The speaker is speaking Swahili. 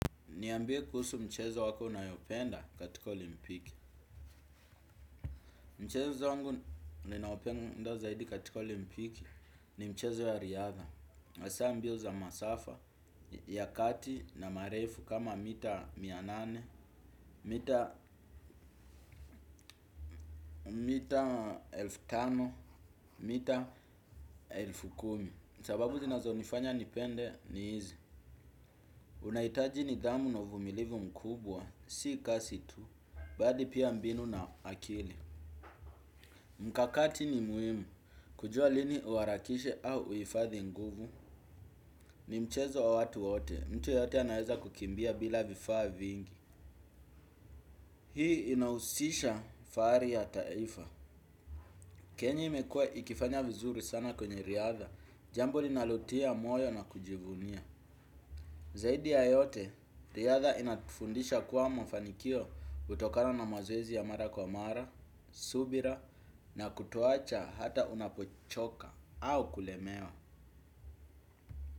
Niambie kuhusu mchezo wako unayopenda katika olimpiki. Mchezo zangu ninaopenda zaidi katika olimpiki ni mchezo ya riadha. Hasa mbio za masafa ya kati na marefu kama mita mianane, mita mita elfu tano, mita elfu kumi. Sababu zinazo nifanya nipende ni hizi. Unahitaji ni dhamu na vumilivu mkubwa, si kasi tu, bali pia mbinu na akili. Mkakati ni muhimu, kujua lini uharakishe au uhifadhi nguvu. Ni mchezo wa watu wote, mtu yoyote anaweza kukimbia bila vifaa vingi. Hii inahusisha fahari ya taifa Kenya imekua ikifanya vizuri sana kwenye riadha. Jambo linalotia moyo na kujivunia. Zaidi ya yote, riadha inatufundisha kuwa mafanikio hutokana na mazoezi ya mara kwa mara, subira na kutowacha hata unapochoka au kulemewa.